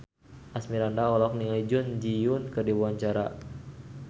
Asmirandah olohok ningali Jun Ji Hyun keur diwawancara